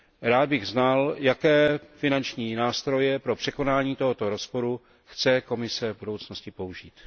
Rád bych znal, jaké finanční nástroje pro překonání tohoto rozporu chce Komise v budoucnosti použít.